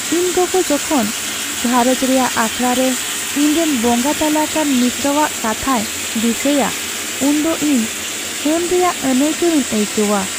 ᱤᱧ ᱜᱚᱜᱚ ᱡᱚᱠᱷᱚᱱ ᱜᱷᱟᱨᱚᱸᱡᱽ ᱨᱮᱭᱟᱜ ᱟᱠᱷᱲᱟᱨᱮ ᱤᱧᱨᱮᱱ ᱵᱚᱸᱜᱟ ᱛᱟᱞᱟ ᱟᱠᱟᱱ ᱢᱤᱥᱨᱟᱣᱟᱜ ᱠᱟᱛᱷᱟᱭ ᱫᱤᱥᱟᱹᱭᱟ ᱩᱱᱫᱚ ᱤᱧ ᱦᱟᱹᱱ ᱨᱮᱭᱟᱜ ᱟᱹᱱᱟᱹᱭᱠᱟᱹᱣᱤᱧ ᱟᱹᱭᱠᱟᱹᱣᱟ ᱾